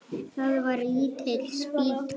Það var lítil spýta.